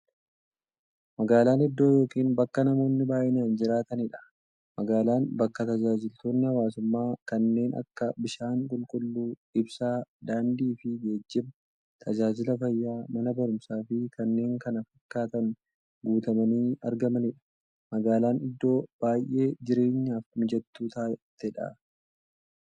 Magaalan iddoo yookiin bakka namoonni baay'inaan jiraataniidha. Magaalan bakka taajajilootni hawwaasummaa kanneen akka; bishaan qulqulluu, ibsaa, daandiifi geejjiba, taajajila fayyaa, Mana baruumsaafi kanneen kana fakkatan guutamanii argamaniidha. Magaalan iddoo baay'ee jireenyaf mijattuu taateedha.